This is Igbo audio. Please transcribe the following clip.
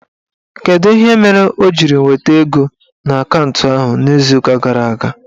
Kedụ ihe mere o jiri weta ego n'akantụ ahụ n'izuụka gara aga?